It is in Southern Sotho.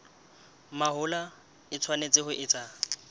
mahola e tshwanetse ho etswa